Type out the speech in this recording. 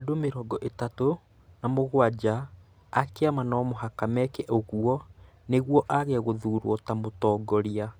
Andũ mĩrongo ĩtatũ na mũgwanja a kĩama no mũhaka meke ũguo nĩguo aage gũthuurwo ta mũtongoria.